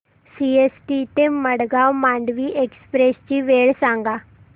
CST ते Madgaon Mandovi express ची वेळ सांगा